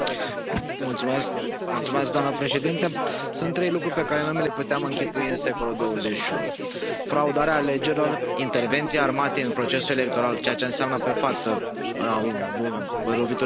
Doamnă președintă, sunt trei lucruri pe care nu mi le puteam închipui în secolul XXI fraudarea alegerilor, intervenția armatei în procesul electoral, ceea ce înseamnă pe față o lovitură de stat și violența.